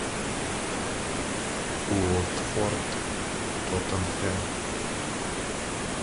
уотфорд тоттенхэм